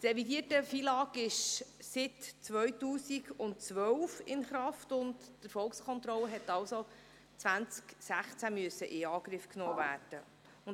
Das revidierte FILAG ist seit 2012 in Kraft, und die Erfolgskontrolle musste also 2016 in Angriff genommen werden.